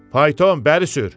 Fayton, bəri sür!"